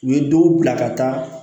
U ye dɔw bila ka taa